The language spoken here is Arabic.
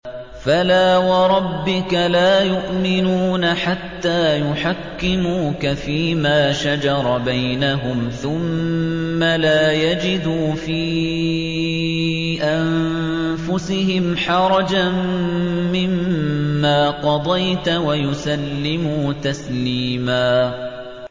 فَلَا وَرَبِّكَ لَا يُؤْمِنُونَ حَتَّىٰ يُحَكِّمُوكَ فِيمَا شَجَرَ بَيْنَهُمْ ثُمَّ لَا يَجِدُوا فِي أَنفُسِهِمْ حَرَجًا مِّمَّا قَضَيْتَ وَيُسَلِّمُوا تَسْلِيمًا